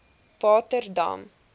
waterdam